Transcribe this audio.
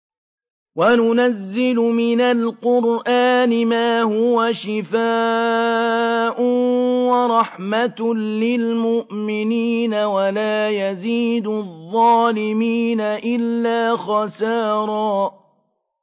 وَنُنَزِّلُ مِنَ الْقُرْآنِ مَا هُوَ شِفَاءٌ وَرَحْمَةٌ لِّلْمُؤْمِنِينَ ۙ وَلَا يَزِيدُ الظَّالِمِينَ إِلَّا خَسَارًا